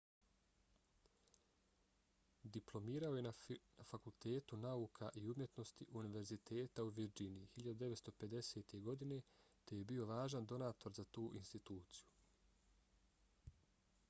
diplomirao je na fakultetu nauka i umjetnosti univerziteta u virdžiniji 1950. godine te je bio važan donator za tu instituciju